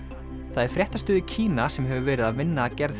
það er fréttastöð í Kína sem hefur verið að vinna að gerð